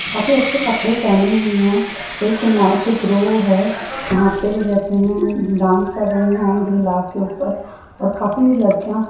काफी अच्छे कपड़े पहनी हुई है एक नाइट है वहाँ पे क्या कहते है डांस कर रहे है ढेला के ऊपर और काफी लड़किया--